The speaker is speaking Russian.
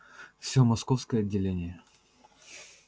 всё московское отделение